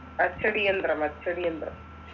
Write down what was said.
അച്ചടിയന്ദ്രം അച്ചടിയന്ദ്രം